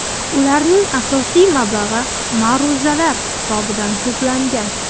Ularning asosiy mablag‘i ma’ruzalar hisobidan to‘plangan.